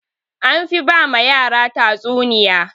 Anfi ba ma yara tatsuniya.